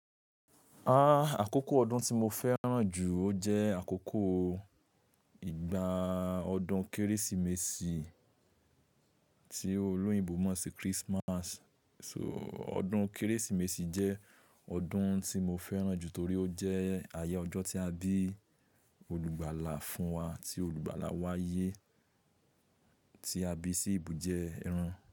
Ah! Àkókò ọdún tí mo fẹ́ràn jù, ó jẹ́ àkókò ìgbà ọdún Kérésìmesì tí olóyìnbo mọ̀ sí Christmas. So ọdún Kérésìmesì jẹ́ ọdún tí mo fẹ́ràn jù torí ó jẹ́ ayé ọjọ́ tí a bí olùgbàlà fún wa tí olùgbàlà wa yé tí a bí sí ìbú jẹ́ ẹran.